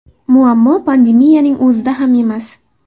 Muammo pandemiyaning o‘zida ham emas.